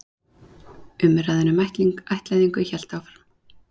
Umræðan um ættleiðingu hélt áfram.